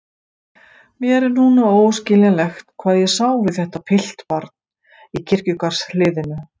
Mér er núna óskiljanlegt hvað ég sá við þetta piltbarn í kirkjugarðshliðinu.